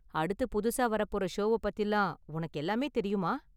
அடுத்து புதுசா வரப்போற ஷோவ பத்திலாம் உனக்கு எல்லாமே தெரியுமா?